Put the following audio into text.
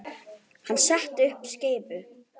Hann setti upp skeifu.